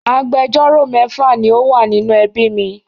Agbẹjọ́rò mẹ́fà ni ó wà nínú ẹbí mi.